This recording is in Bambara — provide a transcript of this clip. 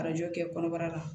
Arajo kɛ kɔnɔbara la